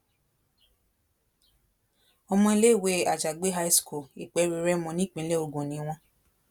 ọmọ iléèwé àjàgbé high school ìpéru rẹ́mọ nípìnlẹ̀ ògùn ni wọ́n